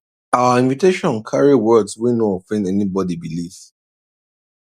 our invitation carry words wey no offend anybody belief